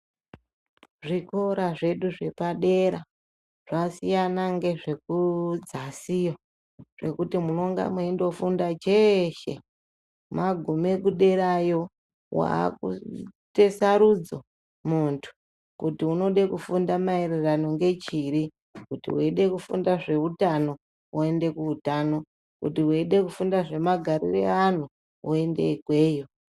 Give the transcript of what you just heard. Zvikora zvedu zvepadera zvakasiyana nezvekudzasiyo ngekuti mwunenge mwaindofunda cheshe , magume derayo wakuite sarudzo muntu kuti unode kufunda maererano nechiri , kuti waide kufunda zveutano woende kuutano , kuti waide kufunda zvemagarire evantu woende ikweyo.